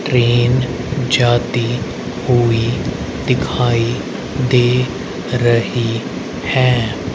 Train जाती हुई दिखाई दे रही हैं।